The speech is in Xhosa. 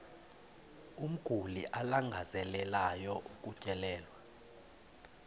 umguli alangazelelayo ukutyelelwa